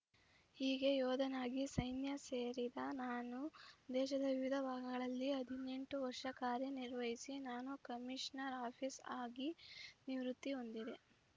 ಹೀಗೆ ಯೋಧನಾಗಿ ಸೈನ್ಯ ಸೇರಿದ ನಾನು ದೇಶದ ವಿವಿಧ ಭಾಗಗಳಲ್ಲಿ ಹದಿನೆಂಟು ವರ್ಷ ಕಾರ್ಯನಿರ್ವಹಿಸಿ ನಾನ್‌ ಕಮಿಷನರ್ ಆಫೀಸ್ ಆಗಿ ನಿವೃತ್ತಿ ಹೊಂದಿದೆ